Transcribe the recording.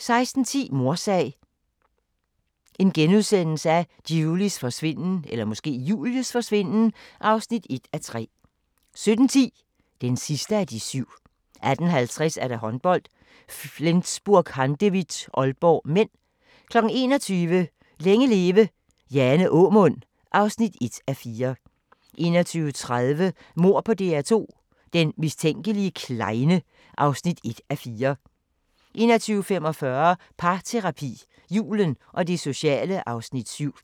16:10: Mordsag: Julies forsvinden (1:3)* 17:10: Den sidste af de syv 18:50: Håndbold: Flensburg-Handewitt - Aalborg (m) 21:00: Længe leve – Jane Aamund (1:4) 21:30: Mord på DR2 - den mistænkelige klejne (1:4) 21:45: Parterapi - Julen og det sociale (Afs. 7)